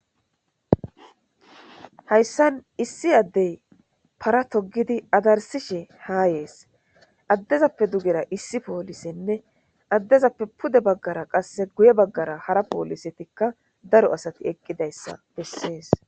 Hayssan issi addey para togidi adarsishe haa yees addezappe dugera issi poolisenne addezappe pude baggara qasse guye baggara hara poolisetikka daro asati eqqidayssa bessees.